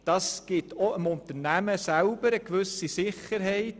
Das gibt auch dem Unternehmen eine gewisse Sicherheit;